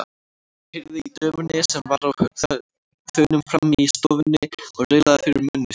Heyrði í dömunni sem var á þönum frammi í stofunni og raulaði fyrir munni sér.